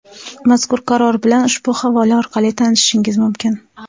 Mazkur Qaror bilan ushbu havola orqali tanishishingiz mumkin.